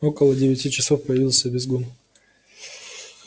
около девяти часов появился визгун